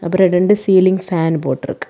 அப்புறம் ரெண்டு ceiling fan போட்டு இருக்கு.